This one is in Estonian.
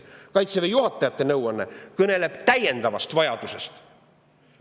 Kaitseväe juhatajate nõuanne kõneleb täiendavast vajadusest.